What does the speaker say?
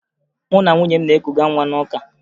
Mụ na nwunye m na-ekuga nwa n'ụka